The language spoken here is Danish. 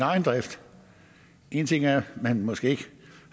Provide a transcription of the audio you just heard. egen drift en ting er at man måske ikke